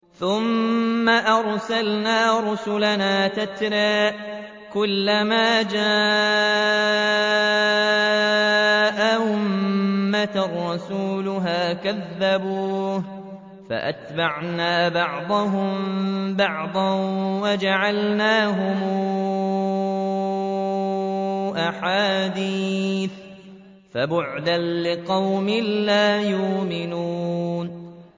ثُمَّ أَرْسَلْنَا رُسُلَنَا تَتْرَىٰ ۖ كُلَّ مَا جَاءَ أُمَّةً رَّسُولُهَا كَذَّبُوهُ ۚ فَأَتْبَعْنَا بَعْضَهُم بَعْضًا وَجَعَلْنَاهُمْ أَحَادِيثَ ۚ فَبُعْدًا لِّقَوْمٍ لَّا يُؤْمِنُونَ